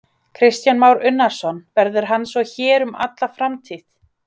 Kristján Már Unnarsson: Verður hann svo hér um alla framtíð?